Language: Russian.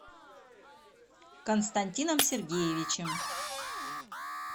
константином сергеевичем